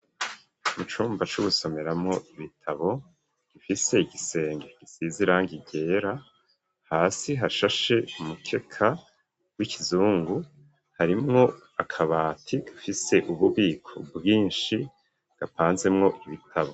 Mu cumba c'ugusomeramwo ibitabo, gifise igisenge gisizirangi ryera, hasi hashashe umukeka w'ikizungu, harimwo akabati gafise ububiko bwinshi gapanzemwo ibitabo.